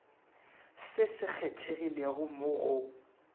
se se kgethegilego mo go